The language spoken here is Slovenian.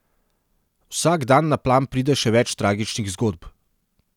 Vsak dan na plan pride še več tragičnih zgodb.